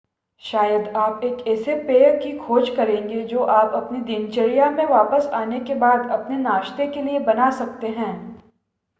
शायद आप एक ऐसे पेय की खोज करेंगे जो आप अपनी दिनचर्या में वापस आने के बाद अपने नाश्ते के लिए बना सकते हैं